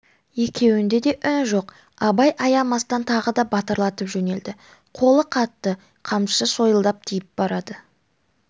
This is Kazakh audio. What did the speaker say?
екеуінде де үн жоқ абай аямастан тағы да батырлатып жөнелді қолы қатты қамшысы сойылдай тиіп барады